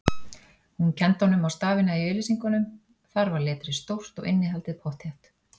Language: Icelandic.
Hún kenndi honum á stafina í auglýsingunum, þar var letrið stórt og innihaldið pottþétt